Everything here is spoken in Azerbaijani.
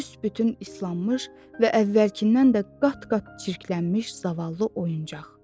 Büsbütün islanmış və əvvəlkindən də qat-qat çirklənmiş zavallı oyuncaq.